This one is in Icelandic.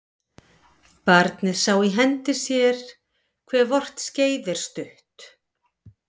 Barnið sá í hendi sér hve vort skeið er stutt